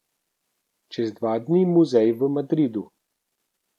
Čez dva dni muzej v Madridu.